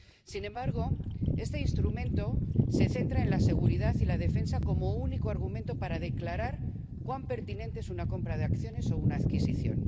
Sin embargo, este instrumento se centra en la seguridad y la defensa como único argumento para declarar cuán pertinente es una compra de acciones o una adquisición.